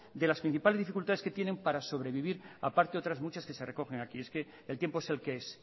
de las principales dificultades que tienen para sobrevivir aparte otras muchas que se recogen aquí es que el tiempo es el que es